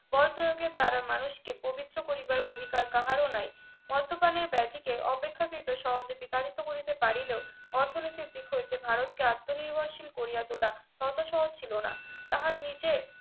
বল প্রয়োগের দ্বারা মানুষকে প্রবৃদ্ধ করিবার অধিকার কাহারও নাই মদ্যপানের ব্যাধিকে অপেক্ষাকৃত সহজে বিতাড়িত করিতে পারিলেও অর্থনৈতিক দিক হইতে ভারতকে আত্মনির্ভরশীল করিয়া তোলা অত সহজ ছিল না তাহার নিজের